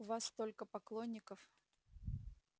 у вас только поклонников